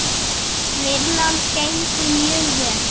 Vinnan gengur mjög vel.